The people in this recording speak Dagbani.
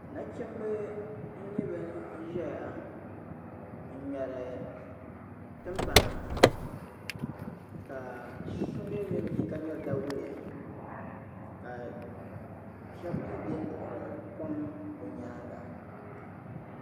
Nachimba n-nyɛ ban zaya n-ŋmɛri timpana ka so mi be bɛ ni ka ŋmɛri dawule ka shɛba mi beni duɣiri kom bɛ nyaaŋga.